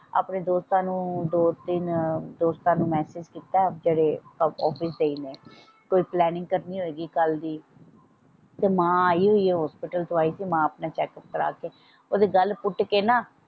ਆਪਣੇ ਦੋਸਤਾਂ ਨੂੰ ਦੋ ਤਿੰਨ ਦੋਸਤਾਂ ਨੂੰ ਮੈਸਿਜ ਕੀਤਾ ਆਫਿਸ ਚ ਇਹਨੇ ਕੋਈ ਪਲੈਨਿੰਗ ਕਰਨੀ ਹੋਏਗੀ ਕੱਲ ਦੀ ਤੇ ਮਾਂ ਆਈ ਹੋਈ ਹੌਸਪੀਟਲ ਤੋਂ ਆਈ ਹੋਈ ਮਾਂ ਆਪਣਾ ਚੈੱਕ ਅੱਪ ਕਰਵਾ ਕੇ ਓਹਦੀ ਗੱਲ ਪੁੱਟ ਕੇ ਨਾ।